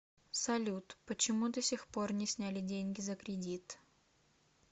салют почему до сих пор не сняли деньги за кредит